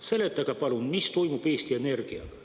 Seletage palun, mis toimub Eesti Energiaga.